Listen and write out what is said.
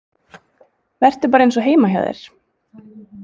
Vertu bara eins og heima hjá þér!